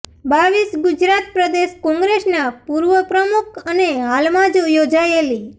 રર ગુજરાત પ્રદેશ કોંગ્રેસના પૂર્વ પ્રમુખ અને હાલમાં જ યોજાયેલી